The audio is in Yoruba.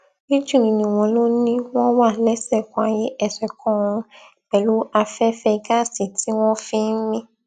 méjì nínú wọn ló ní wọn wà lẹsẹkan ayé ẹsẹkanọrun pẹlú afẹfẹ gáàsì tí wọn fi ń mí